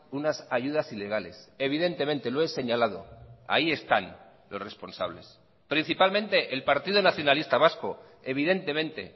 unas ayudas ilegales evidentemente lo he señalado ahí están los responsables principalmente el partido nacionalista vasco evidentemente